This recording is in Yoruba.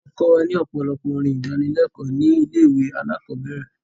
Wọ́n kọ wa ní ọ̀pọ̀lọpọ̀ orin ìdánilékòó ní ilé ìwé alákọ̀berẹ̀.